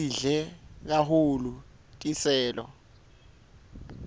sidle kahulu tiselo